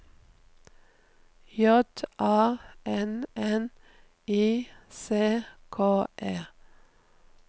J A N N I C K E